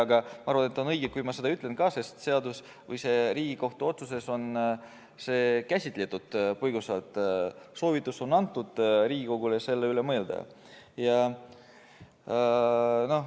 Aga ma arvan, et on õige, kui ma seda ütlen, sest Riigikohtu otsuses on seda põgusalt käsitletud, Riigikogule on antud soovitus selle üle mõelda.